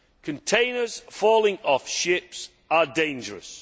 Containers falling off ships are dangerous.